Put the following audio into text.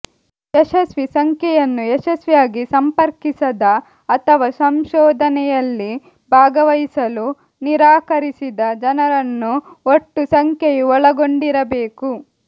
ಯಶಸ್ವಿ ಸಂಖ್ಯೆಯನ್ನು ಯಶಸ್ವಿಯಾಗಿ ಸಂಪರ್ಕಿಸದ ಅಥವಾ ಸಂಶೋಧನೆಯಲ್ಲಿ ಭಾಗವಹಿಸಲು ನಿರಾಕರಿಸಿದ ಜನರನ್ನು ಒಟ್ಟು ಸಂಖ್ಯೆಯು ಒಳಗೊಂಡಿರಬೇಕು